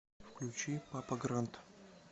включи папа грант